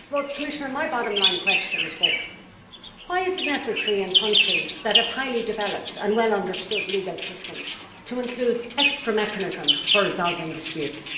Commissioner, my bottom line question is this why is it necessary in countries that have highly developed and well understood legal systems to include extra mechanisms for resolving disputes?